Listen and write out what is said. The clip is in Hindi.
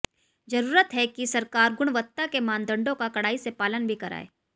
जरूरत है कि सरकार गुणवत्ता के मानदंडों का कड़ाई से पालन भी कराए